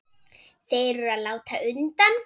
Þeir eru að láta undan.